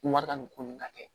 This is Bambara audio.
Wari ka nin ko nin ka kɛ